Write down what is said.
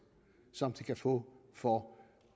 som det kan få for